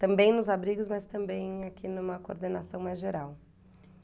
Também nos abrigos, mas também aqui numa coordenação mais geral.